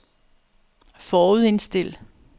forudindstil